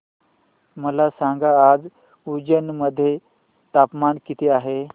मला सांगा आज उज्जैन मध्ये तापमान किती आहे